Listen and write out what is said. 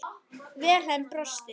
Vilhelm brosti.